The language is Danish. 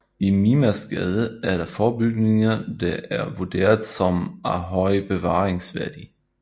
I Mimersgade er der få bygninger der er vurderet som af høj bevaringsværdi